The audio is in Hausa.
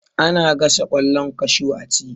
Ana gasa ƙwallon kashu a ci